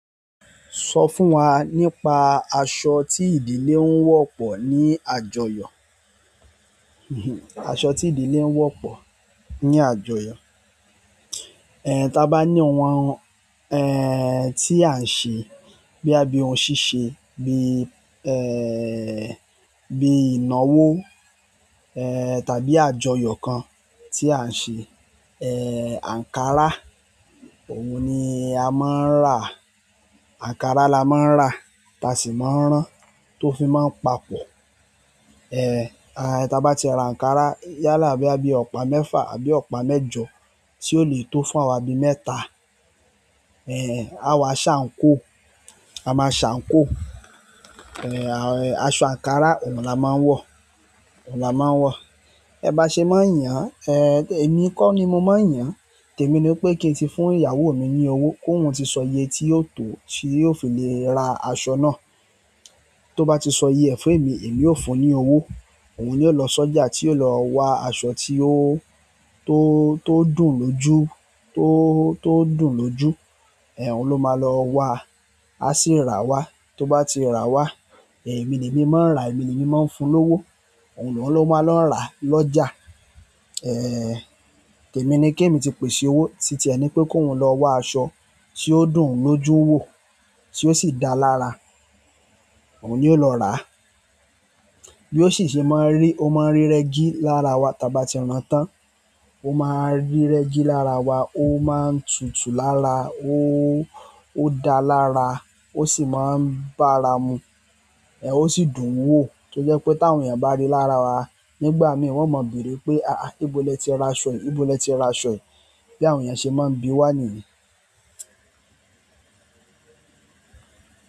Sọ fún wa nípa aṣọ tí ìdílé ń wọ̀ pọ̀ ní àjọyọ̀. Aṣọ tí ìdílé ń wọ̀ pọ̀ ní àjọyọ̀. Ta bá ní ohun tí à ń ṣe boya bíi ohun ṣíṣe bí bí ìnáwó tàbí àjọyọ̀ kan tí à ń ṣe ankara, òun ni a máa ń rà. Ankara la máa ń rà, ta sì máa ń rán tó fi máa ń papọ̀. Ta bá ti ra ankara yálà boya bíi ọ̀pá mẹ́fà àbí ọ̀pá mẹ́jọ tí ó lè tó fún awa bí mẹ́ta. A wa sa àǹkóò, a máa ṣàǹkóò. Aṣọ ankara òun la máa ń wọ̀, òun la máa n wọ̀. Ẹ bá ṣe máa n yàn, èmi kọ́ ni mo máa yàn. Tèmi ni wipé kí n ti fún ìyàwó mi ní owó kóhún ti sọ iye tí yóò tó, tí yóò fi lè ra aṣọ náà. Tó bá ti sọ iye e fèmi, èmi óò fún un ní owó. Òun ni o lọ sọ́jà tí yóò lọ wa aṣọ tí ó, tó, tó dùn lójú, tó, tó dùn lójú. Òun ló máa lọ́ wa, a sì ra wá. Tó bá ti rà wá, èmi lèmi máa ń rà, èmi lèmi máa ń fún lówó. Òun lóun, ló máa lọ rà lọjà. Tèmi ni kèmi ti pèsè owó títí ẹ ni pé kóun lọ wà aṣọ tí ó dùn ún lójú wò, tí ó sì da lára. Òun yóò lọ rà. Bí ó sì ṣe máa ń rí, ó máa ń rí rẹ́gí lára wa tàbí tí rán tán. Ó máa ń rí rẹ́gí lára wa, ó máa ń tutu lára, ó, ó da lára, ó sì máa ń bara mu. Osi dùn wo tojepe tawon eeyan bari lára wa nígbà mi won maa beere pe aha nibo leti raso yìí nibo leti raso yi bí àwọn èèyàn ṣe máa ń bí wá nìyí.